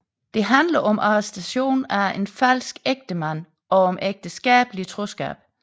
Det handler om arrestationen af en falsk ægtemand og om ægteskabelig troskab